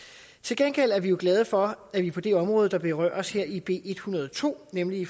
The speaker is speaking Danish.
til gengæld er vi jo glade for at vi på det område der berøres her i b en hundrede og to nemlig